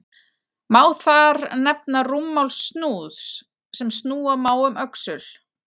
Má þar nefna rúmmál snúðs, sem snúa má um öxul.